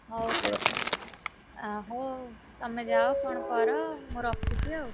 ହଉ ତାହେଲେ, ଆ ହଉ, ତମେ ଯାଅ କଣ କର, ମୁଁ ରଖୁଛି ଆଉ,